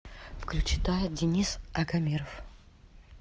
включи тает денис агамиров